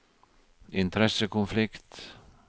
interessekonflikt